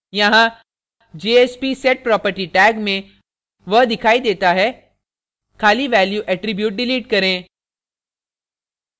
यहाँ jsp: setproperty tag में वह दिखाई देता है खाली value attribute डिलीट करें